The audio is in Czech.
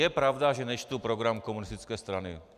Je pravda, že nečtu program komunistické strany.